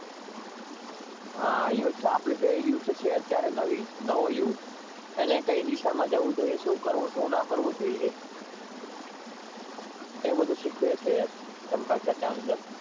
હા આપડું જે યૂથ છે